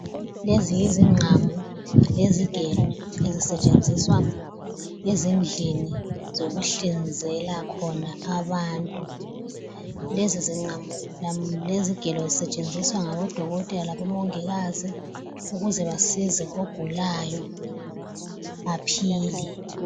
Lezi yizingqamu lezigelo ezisetshenziswa ezindleni zokuhlinzela khona abantu. Lezi zingqamu, lezigelo zisetshenziswa ngabo dokotela labomongikazi ukuze basize ogulayo aphile.